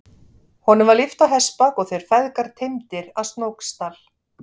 Honum var lyft á hestbak og þeir feðgar teymdir að Snóksdal.